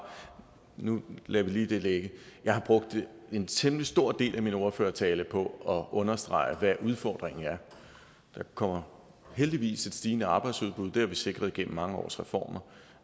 nu lader vi lige det ligge jeg har brugt en temmelig stor del af min ordførertale på at understrege hvad udfordringen er der kommer heldigvis et stigende arbejdsudbud det har vi sikret gennem mange års reformer